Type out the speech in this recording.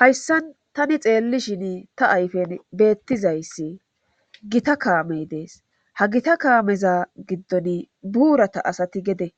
hayssan tani xeelli shini ta ayfen beettizayssi gita kaamey dees ha gita kaameza giddon buurata asati gede